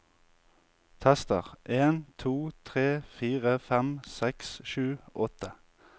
Tester en to tre fire fem seks sju åtte